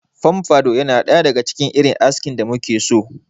Fomfado yana ɗaya daga cikin irin askin da muke so.